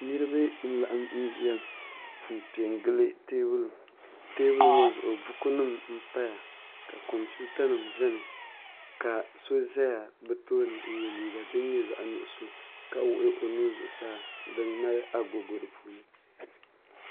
niriba n-laɣim ʒiya m-pe n-gili teebulu teebulu ŋɔ zuɣu bukunima m-paya ka kompiutanima beni ka so zaya bɛ tooni n-ye liiga din nyɛ zaɣ' nuɣiso ka wuɣi o nu-u zuɣusaa din mali agogo di puuni